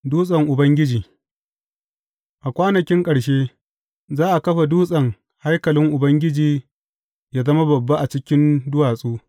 Dutsen Ubangiji A kwanakin ƙarshe za a kafa dutsen haikalin Ubangiji yă zama babba a cikin duwatsu.